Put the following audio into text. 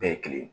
Bɛɛ ye kelen ye